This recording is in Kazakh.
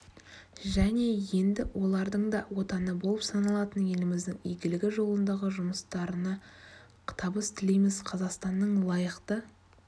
және енді олардың да отаны болып саналатын еліміздің игілігі жолындағы жұмыстарына табыс тілейміз қазақстанның лайықты